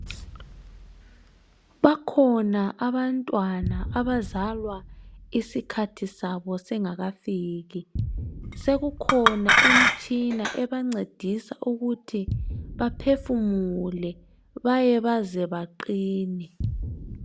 Bakhona abantwana abazalwa isikhathi sabo singakafiki ,sekukhona imitshina ebancedisa ukuthi baphefumule baye baze baqine.